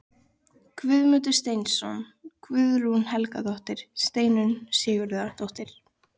Guðmundur Steinsson, Guðrún Helgadóttir, Steinunn Sigurðardóttir